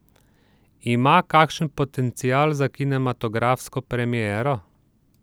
Ima kakšen potencial za kinematografsko premiero?